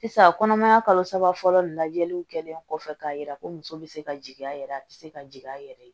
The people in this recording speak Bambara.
Sisan kɔnɔmaya kalo saba fɔlɔ lajɛliw kɛlen kɔfɛ k'a yira ko muso bɛ se ka jigin a yɛrɛ ye a bɛ se ka jigin a yɛrɛ ye